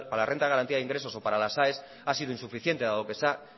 la renta de garantía de ingresos o para las aes ha sido insuficiente dado que se ha